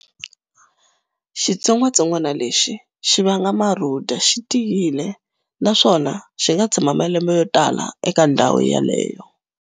Xitsongatsongwana lexi vanga marhuda xi tiyile naswona xi nga tshama malembe yo tala eka ndhawu yaleyo.